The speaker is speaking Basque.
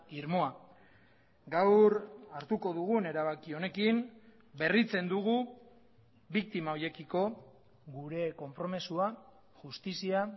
irmoa gaur hartuko dugun erabaki honekin berritzen dugu biktima horiekiko gure konpromisoa justizia